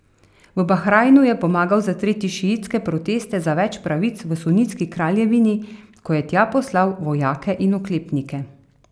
V Bahrajnu je pomagal zatreti šiitske proteste za več pravic v sunitski kraljevini, ko je tja poslal vojake in oklepnike.